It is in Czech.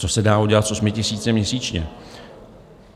Co se dá udělat s 8 000 měsíčně?